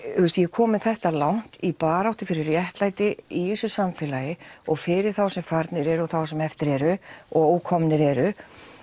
komin þetta langt í baráttu fyrir réttlæti í þessu samfélagi og fyrir þá sem farnir eru og þá sem eftir eru og ókomnir eru